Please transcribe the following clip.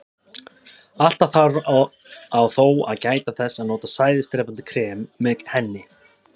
Alltaf þarf á þó að gæta þess að nota sæðisdrepandi krem með henni.